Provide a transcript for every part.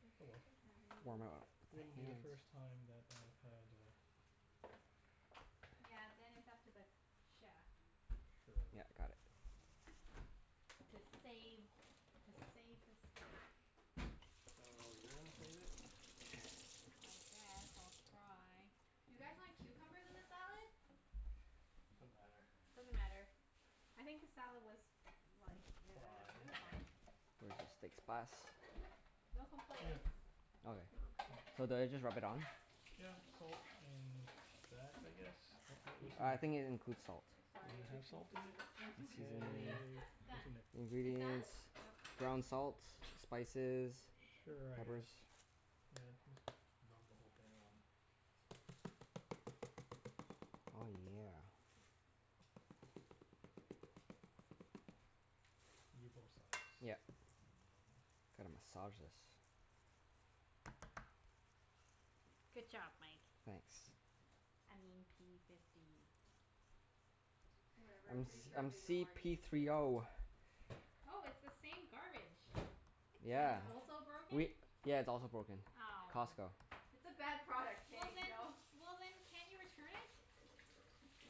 Does Oh he well. even have Warm any it up with Wouldn't my be the first hands. time that I had a Yeah, then it's up to the chef. Sure, Yep. Got it. oh okay. To save Uh to save the steak. So, you're gonna save it? I guess I'll try. Do you guys want cucumbers in the salad? Doesn't matter. Doesn't matter. I think the salad was like, Looks i- I do- it was fine. fine. Where's your steak spice? No Here. complaints. Okay. Oh, okay. Mm. So do I just rub it on? Yeah, coat in that I guess? I think it includes salt. Does Sorry, it I just have need salt to in do it? this, that's why. Anyway, Seasoning. Say done. It's in it. It's done? Ingredients. Yep. Ground salt. Spices. Mm, k. Sure, I Peppers. guess. Yeah, just rub the whole thing on. Oh yeah. And do both sides. Yep. I don't know. Gotta massage this. Good job, Mike. Thanks. I mean p fifty. Whatever. I'm P Pretty s- Diddy. sure I'm they know c our p names three now. o. Oh, it's the same garbage. I That Yeah. is know. also broken. We, yeah, it's also broken. Ow. Costco. It's a bad product, Well k? We then, all well then can't you return it?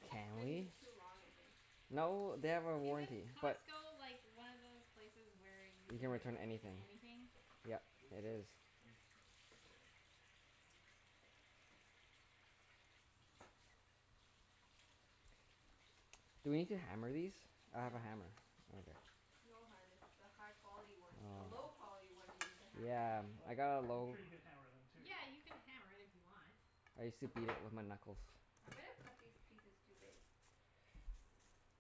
Can Been we? too long, I think. No, they have a Isn't warranty but Costco like, one of those places where you You can can ret- return in anything. anything? Yep, Do you use it soap? is. I use soap. Do we need to hammer these? I have a No. hammer. Okay. No hun, it's the high quality one. The low Oh. quality one you need to hammer. Yeah. What? I got a I'm low sure you could hammer them too. Yeah, you can hammer it if you want. I used to beat it with my knuckles. I might've cut these pieces too big.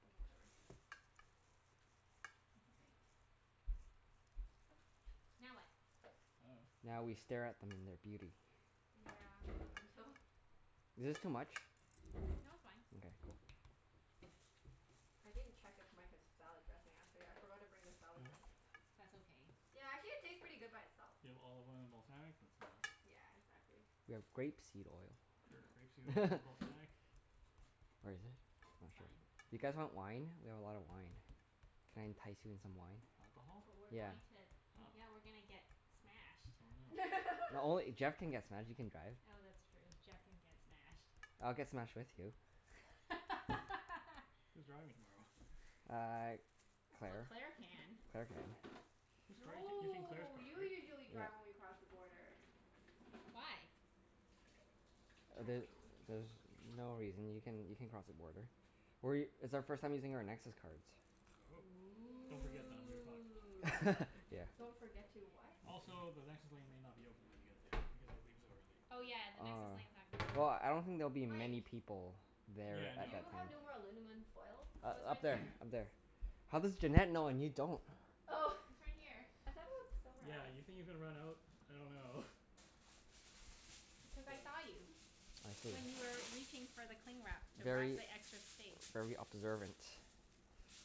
Oh, whatever. That's okay. Now what? I dunno. Now we stare at them in their beauty. Yeah, until Is this too much? No, it's fine. Okay. Cool. I didn't check if Mike has salad dressing, actually. I forgot to bring the salad dressing. That's okay. Yeah, actually it tastes pretty good by itself. You have olive oil and balsamic? That's enough. Yeah, exactly. We have grape seed oil. Sure. Grape seed oil and balsamic. Where is it? I'm not It's fine. sure. You guys want wine? We have a lot of wine. Can I entice you in some wine? Alcohol? But we're Yeah. going to Oh. Yeah, we're gonna get smashed. Oh no. No only, Jeff can get smashed. You can drive. Oh, that's true. Jeff can get smashed. I'll get smashed with you. Who's driving tomorrow? Uh, Well, Claire. Claire can. Claire can. Whose car are you taki- you're taking Claire's No, car, you right? usually Yeah. drive when we cross the border. Why? I don't The- know. there's no reason. You can you can cross the border. We, it's our first time using our Nexus cards. Oh. Don't forget them, Yeah. you're fucked. Ooh. Yeah. Don't forget to what? Also, the Nexus lane may not be open when you get there because you're leaving so early. Oh yeah, the Nexus Ah. lane's not gonna be Well, open. I don't think there'll be Mike. many people there Yeah, at Do no. you that time. have no more alunamin foil? Oh, it's U- up right there. there. Up there. How does Junette know and you don't? Oh! It's right here. I thought it was somewhere Yeah, else. you think you're gonna run out? I dunno. Because I S- saw you. I see. When you were reaching for the cling wrap to wrap Very the excess steak. very observant.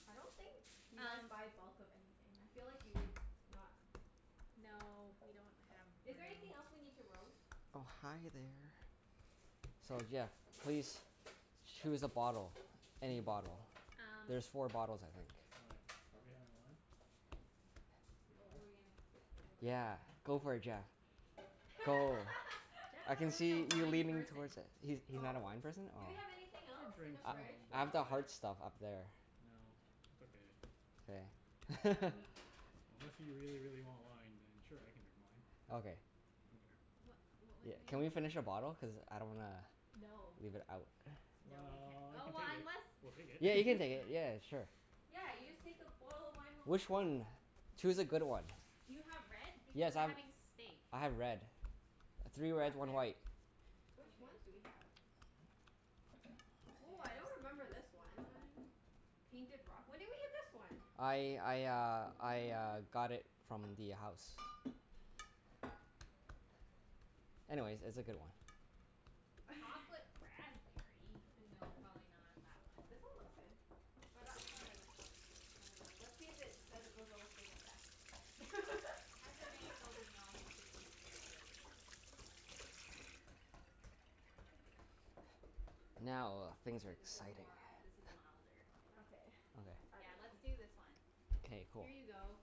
I don't think you guys Um buy bulk of anything. I feel like you would not. No, we don't have Is there room. anything else we need to roast? Oh, hi there. So yeah, please choose a bottle. Any Choose a bottle. bottle. Um There's four bottles, I think. Why? Are we having wine? We What are? were we gonna s- what was I Yeah, go for it gonna say? Jeff. Oh. Go. Jeff's I not can really a see you wine leaning person. towards it. He's he's not a Oh. wine person? Do we Oh. have anything I else in drink the I fridge, some, I have though? but the like hard stuff up there. No, it's okay. K. Um Unless you really, really want wine, then sure, I can drink wine. Okay. I don't care. What what was Yeah, can we I finish a bottle? Cuz I don't wanna No. leave it out. No, we can't. Well, Oh, we can well take it. unless We'll take Yeah, you can it. take it. Yeah, sure. Yeah, you just Oh. take the bottle of wine home Which afterwards. one? Do Choose you a good one. Do you have red? Because Yes, we're I've, having steak. I have red. Three red, Back one there. white. Which ones Okay. do we have? Woah, I don't remember this one. Painted Rock? When did we get this one? I I uh This I uh one. got it from the house. Anyways, it's a good one. Chocolate raspberry? No, Yeah. probably not that one. This one looks good. Or that one. This one or this one? I dunno. Let's see if it says it goes well with steak at the back. Cabernet Sauvignon should be pretty good. Now, things are Yeah, this is exciting. more, this is milder, I think. Okay. I Yeah, let's dunno. do this one. Okay. K, cool. Here you go.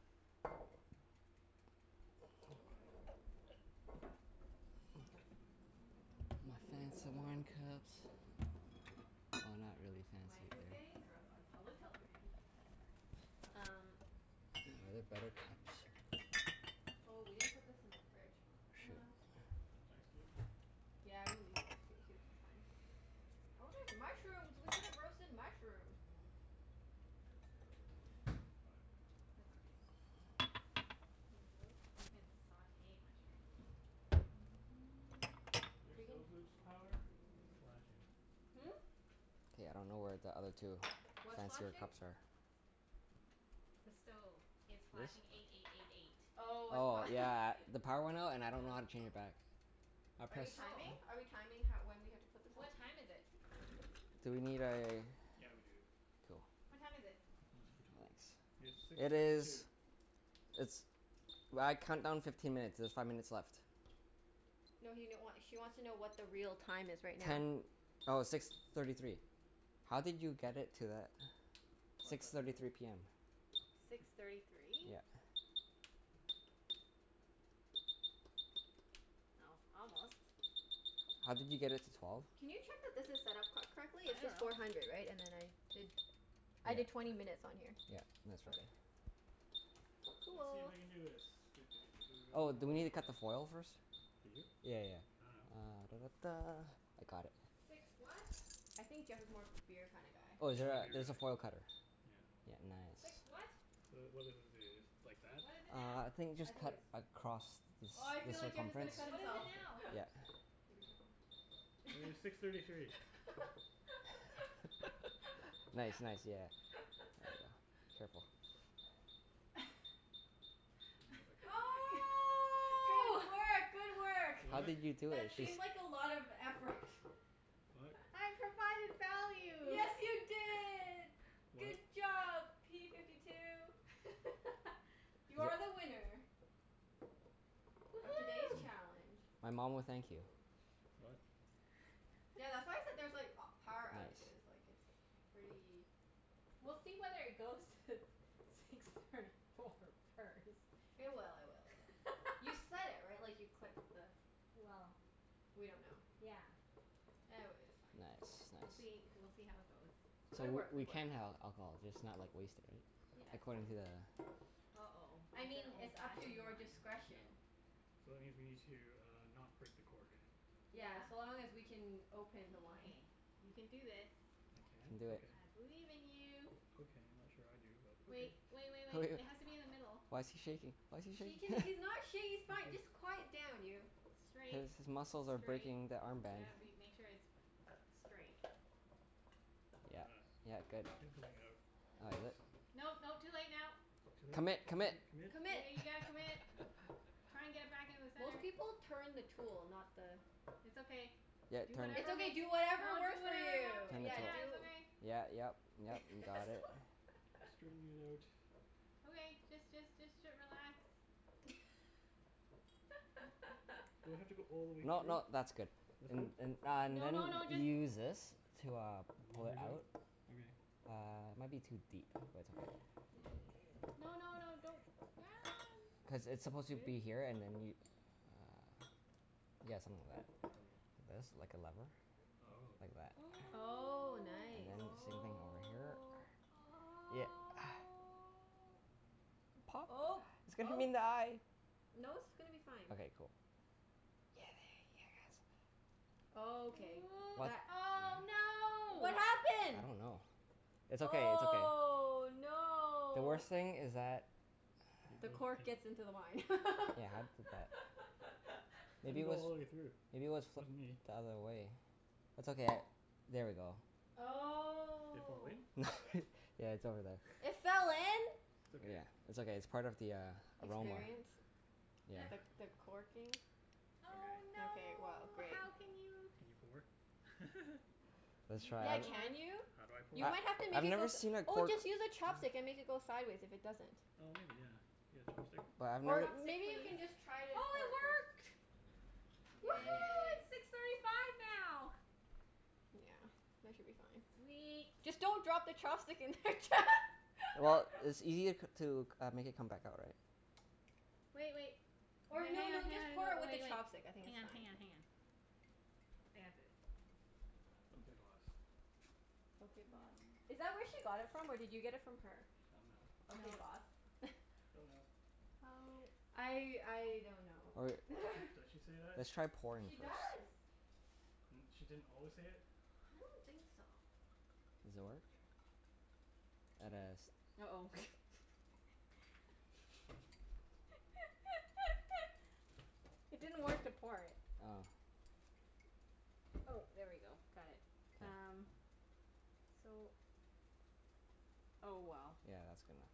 Okay. My fancy wine cups. Oh, not really fancy Mike is really. getting drunk on public television. How great. Um Oh, they're better cups. Oh, we didn't put this in the fridge. Shoot. Ice cube? Yeah, we needed ice c- cubes. That's fine. Oh, there's mushrooms. We could've roasted mushrooms. Could still, but That's okay. Tomatoes. You can sauté mushrooms. Your We can stove lose power? It's flashing. Hmm? K, I don't know where the other two What's fancier flashing? cups are. The stove. It's This? flashing eight eight eight eight. Oh, it's Oh, pro- yeah. The power went out and I don't know how to Yeah. change it back. I Are you press timing? Oh. Are we timing ho- when we have to put this on? What time is it? Do we need a Yeah, we do. Cool. What time is it? Not a screw top. Nice. It's six It thirty two. is it's, well, I count down fifteen minutes. There's five minutes left. No he n- wa- she wants to know what the real time is right now. Ten, oh, six thirty three. How did you get it to that? Probably Six press and thirty hold? three p m. Six thirty three? Yeah. Oh, almost. How did you get it to twelve? Can you check that this is set up co- I correctly? It's just dunno. four hundred, right? And then I did, I did twenty minutes on here. Yeah. Yeah. That's Okay. okay. Let's see if Cool. I can do this. Doo doo doo doo doo. Oh, do we need to cut the foil first? Do you? Yeah yeah yeah. I dunno. Ah da da da. I got it. I think Jeff is more of a beer kinda guy. Oh, is Yeah, there I'm a a, beer there's guy. a foil cutter. Yeah. Yeah, nice. The, what does this do, just like that? Uh, I think just I think cut it's across the Oh, I ci- the feel like Jeff is Oh, gonna circumference? cut himself. okay. Yeah. It was six Yeah, thirty three. be Nice, careful. nice. Yeah. There ya go. Careful. G- I don't know if I cut it right. Oh! good work! Good work! How What? did you do it? That It seemed just like a lot of effort. What? I provided value! Yes, you did! Good What? job, p fifty two! You are the winner. Of today's Woohoo! challenge. My mom will thank you. What? Tha- that's why I said there's like a- power Nice. outages, like it's pretty We'll see whether it goes to six thirty four first. It will, it will, it will. You set it, right? Like, you clicked the Well We don't know. Yeah. E- w- it's fine. Nice, We'll see, nice. we'll see how it goes. So Good w- work. we Good work. can have alcohol, just not like, wasted, right? Yeah, it's According to fine. the uh-oh. I It's an mean, old it's up to fashioned your one. No. discretion. So it means we need to uh, not break the cork. Yeah. Yeah, so long as we can open the wine. Okay. You can do this. I can? You can do it. Okay. I believe in you. Okay. I'm not sure I do, but okay. Wait, wait wait wait. It has to be in the middle. Why's he shaking? Why's he He can, shaking? he's not sha- he's Let's fine, do this. just quiet down, you. Straight. His his muscles are Straight. breaking the arm You band. gotta be, make sure it's straight. Yeah. Ah, Yeah, good. and going Oh, outwards. is it? No, no. Too late now. Too late? Commit! Commit! Commit? Commit? Commit. Yeah, you gotta commit. Try and get it back in the Most center. people turn the tool, not the It's okay. Yeah, it Do turns. It's whatever okay, makes do you, whatever don't do, it works for won't you. happen. Turn the Yeah, cork. Yeah, do it's okay. Yeah, yep, yep, you got it. Straightening it out. Okay, just just just t- relax. Do I have to go all the way No through? no, that's good. That's And good? and uh No no then no, you just use this to uh, pull it Leverage out? out. Okay. Uh, it might be too deep, but it's okay. No no no, don't. Ah, Cuz n- it's supposed to Really? be here and then you uh, yeah, something like that. Okay. This. Like a level. Oh. Like that. Oh. Oh, And nice. then same thing over here. Oh. Oh. Yeah. Oh, Pop. It's gonna hit him oh. in the eye. No, it's gonna be fine. Okay, cool. Oh, okay Ooh. What that Oh, What no! I happened? don't know. It's okay. It's okay. Oh, The no! worst thing is that It The goes cork in. gets into the wine. Yeah, how did that I Maybe didn't it go was, all the way through. maybe it was This flipped wasn't the me. other way? It's okay, I'll, there we go. It fall Oh. in? Yeah, it's over there. It fell in? It's okay. Yeah. It's okay. It's part of the uh, aroma. Experience? Experience. The Yeah. Sure. the corking? Okay. Oh, Okay, well no! great. How can you Can you pour? Let's You can Yeah, try. pour. can you? You I might have to make I've it go never s- seen a oh, cork just use a chopstick and make it go sideways if it doesn't. Oh maybe, yeah. You got a chopstick? But I've never Or, s- Say maybe you please. can just try to Oh, pour it it first. work! Woohoo, Yay! it's six thirty five now! Yeah, that should be fine. Sweet. Just don't drop the chopstick in there. Well, it's ea- to c- uh, make it come back out, right? Wait wait. Or Hang no hang on, no, just hang pour on it and with the wait wait. chopstick. I think Hang it's on, fine. hang on, hang on. I got this. Okay boss. Okay, boss. Is that where she got it from or did you get it from her? I dunno. Okay, No. boss? Don't know. Oh. I I don't know Or or Does she does she say that? let's try pouring it She first. does. N- she didn't always say it? I don't think so. Does it work? At a s- uh-oh. It didn't work to pour it. Oh. Oh, there we go. Got it. Yeah. Um, so Oh well. Yeah, that's gonna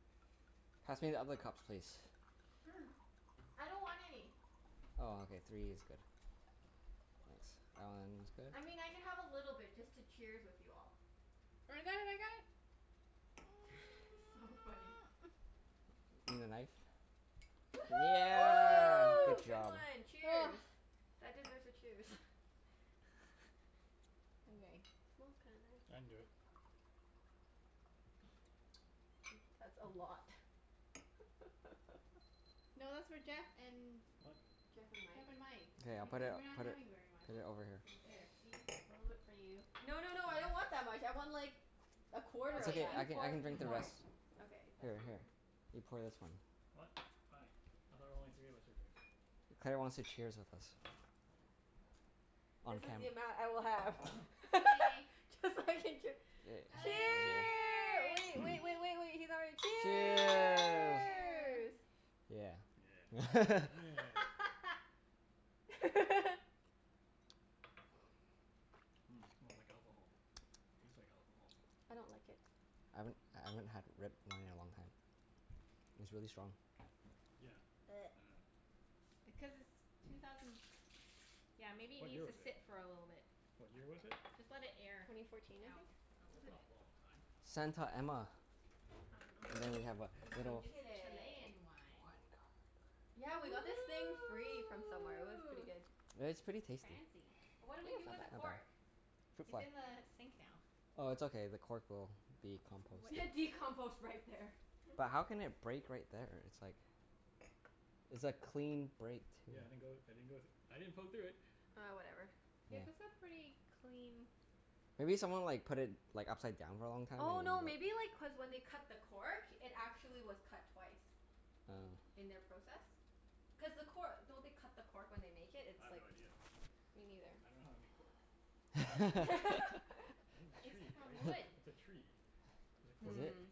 Pass me the other cups, please. I don't want any. Oh, okay. Three is good. Thanks. That one is good? I mean, I can have a little bit just to cheers with you all. I got it, I got it. So funny. Need a knife? Woohoo! Oh, Good good job. one! Cheers! That deserves a cheers. Okay. Smells kinda I nice. didn't do it. Hmm, that's a lot. No, that's for Jeff and What? Jeff and Mike. Jeff and Mike. K, I'll put Because it, No. we're Okay. not put it, having very much. put it over here. There, Okay. see? A little bit for you. No no no, I don't want that much. I want like a quarter It's of Okay, okay. you I that. can I pour it. can You drink the pour it. rest. Okay, that's Here for you. here, you pour this one. What? Hi. I thought only three of us were drinking. Claire wants to cheers with us. Oh. On This is cam- the amount I will have. Okay. Cuz I can chee- Yay. Okay, Cheer, wait cheers! wait wait wait wait, he's not ready. Cheers. Cheers! Cheer! Yeah. Yeah. Meh. Mmm, smells like alcohol. Tastes like alcohol. I don't like it. I haven't, I haven't had red wine in a long time. It's really strong. Yeah, I dunno. Because it's two thousand Yeah, maybe it What year needs to was it? sit for a little bit. What year was it? Just let it air Twenty fourteen, I out. think? A Is little That's it? bit. not a long time. Santa Emma. I dunno. And then we have a It's from little It's Chile. Chilean wine. Yeah, we got this thing free from somewhere. It was pretty Ooh! good. It's pretty tasty. Fancy. What do Yeah, we it's do not with the bad. cork? Okay. Fruit It's fly. in the sink now. Oh, it's okay. The cork will be composted. What Decompost right there. But how can it break right there? It's like It's a clean break, too. Yeah, I didn't go I didn't go thr- I didn't poke through it. Ah, whatever. Yeah, Yeah. this a pretty clean Maybe someone like put it like upside down for a long time? Oh, no maybe like cuz when they cut the cork it actually was cut twice. What? Oh. In their process. Cuz the cor- don't they cut the cork when they make it? I It's have no like idea. Me neither. I dunno how they make cork. It's in a It's tree, from right? wood. It's a tree. It's a Is cork tree. it? Hmm.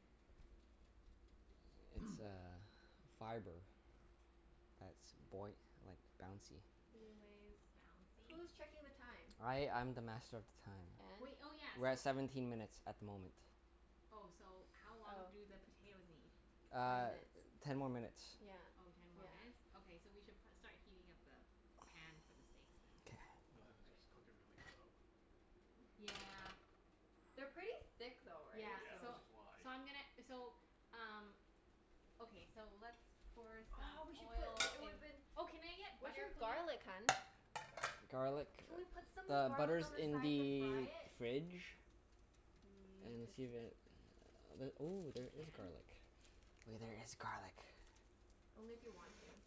It's uh fiber. That's boy- like, bouncy. Anyways. Bouncy? Who's checking the time? I I'm the master of the time. Wait, And? oh yeah, We're so at seventeen minutes at the moment. Oh, so how long Oh. do the potatoes need? Twenty Uh, minutes. ten more minutes. Yeah. Oh, ten more Yeah. minutes? Okay, so we should pro- start heating up the pan for the steaks, then. K. just cook it really slow. Yeah. They're pretty thick though, right? Yeah, Yeah, So so which is why. so I'm gonna, so um Okay, so let's pour Oh, we some should put oil l- it in woulda been Oh, can I get Where's butter your please? garlic, hun? Garlic, Can we put some the garlic on butter's the in side to fry the it? fridge. Mm, And it's see too if it, ooh, We there is can. garlic. Wait, there is garlic. Only if you want to.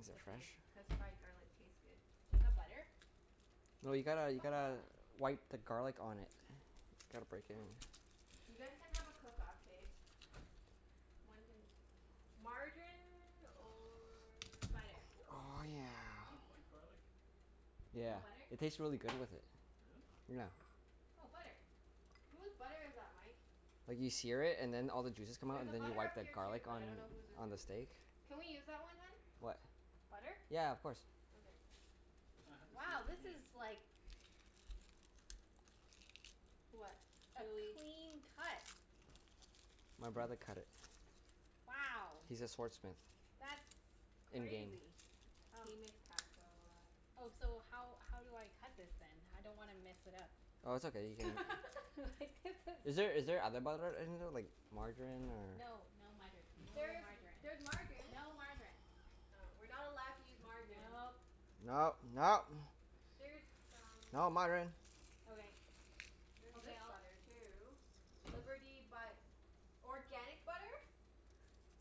Is Just it a few. fresh? Cuz fried garlic tastes good. Do you have butter? No, you gotta you gotta Buttah. wipe the garlic on it. Gotta break in. You guys can have a cook off, k? One can, margarine or Butter. Oh yeah. You wipe garlic? Yeah. No butter? It tastes really good with it. Really? Yeah. Oh, butter. Whose butter is that, Mike? Like, you sear it and then all the juices come out, There's a and then you butter wipe up the here too, garlic but I on don't know whose is on the whose. steak. Can we use that one, hun? What? Butter? Yeah, of course. Okay. I have to see what Wow, you this mean. is like What? a Really clean cut. My brother cut it. Wow. He's a sword smith. That's In game. crazy. Um He makes pasta a lot. Oh, so how how do I cut this then? I don't wanna mess it up. Oh, it's okay. You can Like, this Is there is is there other butter in there, like margarine or No, no mutter. No There is m- margarine. there's margarine. No margarine. Oh. We're not allowed to use margarine. Nope. No, no! There's Not some margarine. Okay. There's Okay, this I'll butter too. Liberty but organic butter?